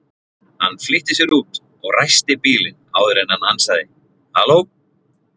Hann flýtti sér út og ræsti bílinn áður en hann ansaði: Halló?